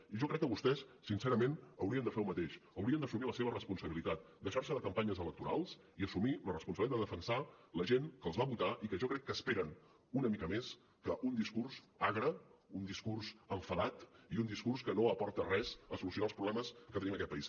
i jo crec que vostès sincerament haurien de fer el mateix haurien d’assumir la seva responsabilitat deixar se de campanyes electorals i assumir la responsabilitat de defensar la gent que els va votar i que jo crec que esperen una mica més que un discurs agre un discurs enfadat i un discurs que no aporta res a solucionar els problemes que tenim en aquest país